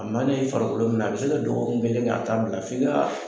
A man'i farikolo minɛ, a bɛ se ka dɔgɔugun kelen kɛ a t'a bila f'i ka